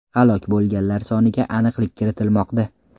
Halok bo‘lganlar soniga aniqlik kiritilmoqda.